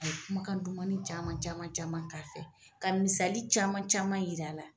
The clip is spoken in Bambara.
A ye kumakan dumanin caman caman caman k'a fɛ ka misali caman caman yir'a la.